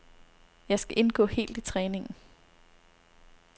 Jeg skal indgå helt i træningen.